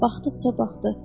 Baxdıqca baxdı.